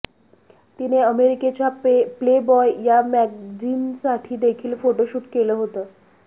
तिने अमेरिकेच्या प्लेबॉय या मॅगझिनसाठी देखील फोटोशूट केलं होतं